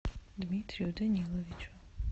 дмитрию даниловичу